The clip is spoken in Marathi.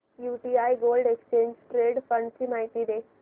UTI gold exchange traded fund ची माहिती दे